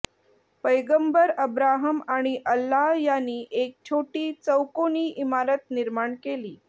पैगंबर अब्राहम आणि अल्लाह यांनी एक छोटी चौकोनी इमारत निर्माण केली